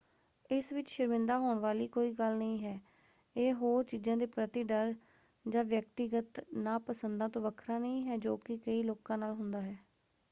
ਇਸ ਵਿੱਚ ਸ਼ਰਮਿੰਦਾ ਹੋਣ ਵਾਲੀ ਕੋਈ ਗੱਲ ਨਹੀਂ ਹੈ: ਇਹ ਹੋਰ ਚੀਜ਼ਾਂ ਦੇ ਪ੍ਰਤੀ ਡਰ ਜਾਂ ਵਿਅਕਤੀਗਤ ਨਾਪਸੰਦਾਂ ਤੋਂ ਵੱਖਰਾ ਨਹੀਂ ਹੈ ਜੋ ਕਿ ਕਈ ਲੋਕਾਂ ਨਾਲ ਹੁੰਦਾ ਹੈ।